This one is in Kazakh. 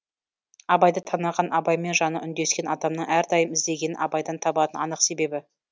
абайды таныған абаймен жаны үндескен адамның әрдайым іздегенін абайдан табатыны анық себебі